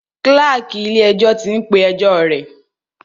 Kláàkì ilé ẹjọ́ tí ń pé ẹjọ́ rẹ̀.